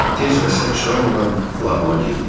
Tez və səs çıxarmadan lağıma girdik.